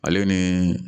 Ale ni